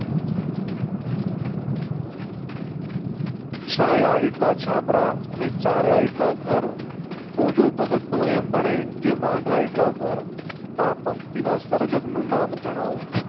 છાયા એટલા છાપરા અને ચાલ્યા એટલા ઘર ભોજો ભગત તો એમ બને જે વાંધા એટલા વાર આ પંક્તિઓ ના સર્જક નું નામ જણાવો.